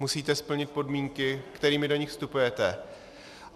Musíte splnit podmínky, kterými do nich vstupujete.